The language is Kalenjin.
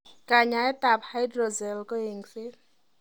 Kanyaetab hydrocele ko eng'set.